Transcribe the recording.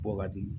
Bɔ ka di